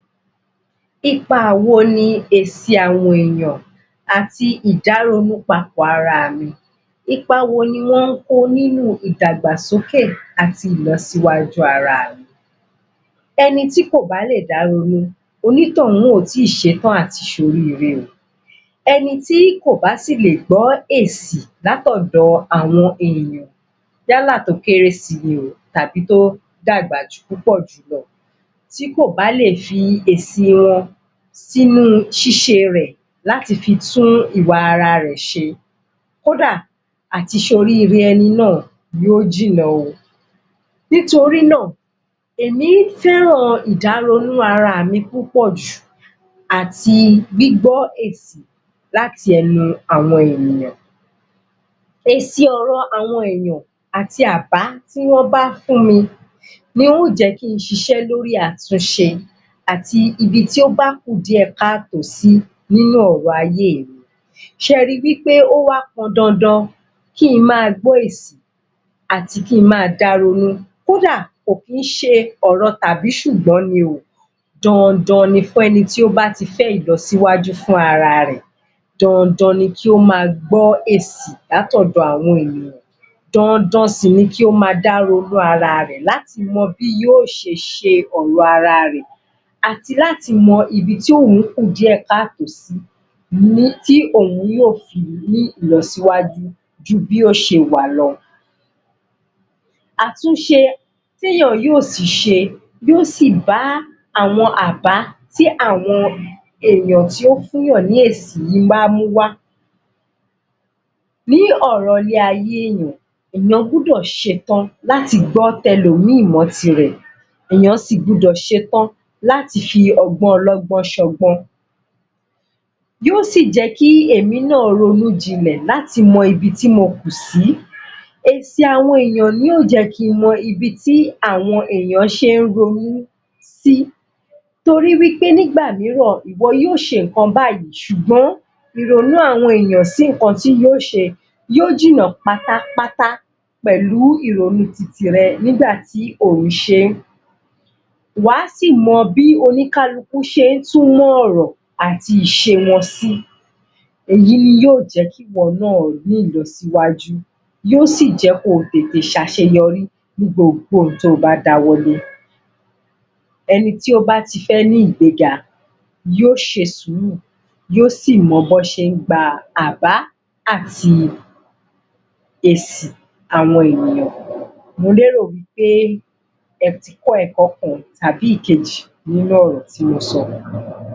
Ipa wo ni èsì àwọn èèyan àti ìdáronúpapọ̀ ara mi ipa wo ni wọ́n kó nínú ìdàgbàsókè àti ìlọsíwájú ara mi? Ẹni tí kò bá lè dá ronú onítọ̀hún ò ì tí ṣetán àti ṣoríre o, ẹni tí kò bá sì lè gbọ́ èsì, l'átọ̀dọ àwọn èèyàn yálà tó kéré si ni o tàbí tó dàgbà púpọ̀ jùúlọ. Tí kò bá lè fi èsì wọn, sínu ṣíṣe rẹ̀ láti fi tún ìwà ara rẹ̀ ṣe, kódà, àti ṣ'oríre ẹni náà, yóò jìnà o. Nítorí náà, èmi fẹ́ràn ìdaronú ara mi púpọ̀ jù àti gbígbọ́ èsì, láti ẹnu àwọn ènìyàn. Èsì ọ̀rọ̀ àwọn èèyàn, àti àbá tí wọ́n bá fún mi yóò jẹ́ kí n ṣiṣẹ́ lórí àtunṣe àti ibi tó bá kù díẹ̀ káàtó sí, nínú ọ̀rọ̀ ayé mi. ṣe ri wí pé ó wá pọn dandan kí n máa gbọ́ èsì, àti kí n máa dáronú, kódà kò kì ń ṣe ọ̀rọ̀ tàbí-ṣụ̀gbọ́n ni o dandan ni fún ẹni tí ó bá ti fẹ́ ìlọsíwájú fún ara rẹ̀ dandan ni kí ó máa gbọ́ èsì l'átọ̀dọ àwọn ènìyàn, dandan sì ni kí ó máa dáronú ara rẹ̀ láti mọ bí yóò ṣe ṣe ọ̀rọ̀ ara rẹ̀, àti láti mọ ibi tí òun kù díẹ̀ káàtó sí, tí òun yóò fi ní ìlọsíwájú ju bí ó ṣe wà lọ. Àtúnṣe tí èèyàn yóò si ṣe yóò sì bá àwọn àbá tí àwọn èèyàn tí ó fún èèyàn ní èsì yìí bá mú wá. Ní ọ̀rọ̀ ilé ayé èèyàn, èèyàn gbọ́dọ̀ ṣetán láti gbọ́ ti ẹlòmìí mọ́ tirẹ̀ èèyàn si gbọ́dọ̀ ṣetán láti fi ọgbọ́n ọlọ́gbọn ṣọgbọ́n. Yóò sì jẹ́ kí èmi náà ronú jinlẹ̀, láti mọ ibi tí mo kù sí, èsì àwọn èèyàn ni yóò jẹ́ kí n mọ ibi tí àwọn èèyàn ṣe ń ronú sí torí wí pé nígbà mìíràn, ìwọ yóò ṣe ǹnkan báyìí ṣùgbọ́n, ìrònú àwọn èèyàn sí ǹnkan tí yóò ṣe yóò jìnà pátápátá, pẹ̀lú ìrònú titi rẹ̀ nígbà tí ò ń ṣe ìwọ á si mọ bí olúkálukú ṣe ń túmọ̀ ọ̀rọ̀ àti ìṣe wọn sí. èyí ni yóò jẹ́ kí ìwọ náà ní ìlọsíwájú, yóò sì jẹ́ kí o ṣe àṣeyorí ní gbogbo ohun tí o bá dáwọ́lé. Ẹni tí ó bá ti fẹ́ ní ìgbega, yóò ṣe sùúrù yóò si mọ bí wọ́n ṣe ń gba àbá àti èsì àwọn ènìyàn. Mo lérò wí pé ẹ ti kọ́ ẹ̀kọ́ kan tàbí ìkejì nínú ọ̀rọ̀ tí mo sọ.